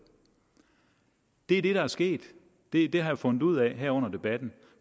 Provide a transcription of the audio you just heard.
det er det der er sket det det har jeg fundet ud af her under debatten